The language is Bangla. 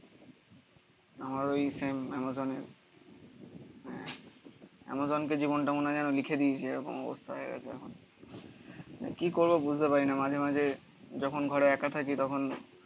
আমার ওই অ্যামাজন এ অ্যামাজন কে জীবনটা মনে হয় যেন লিখে দিয়েছে এরকম অবস্থা হয়ে গেছে এখন কি করবো বুঝতে পারি না মাঝে মাঝে যখন ঘরে একা থাকি তখন